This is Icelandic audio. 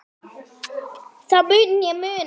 Það mun ég muna.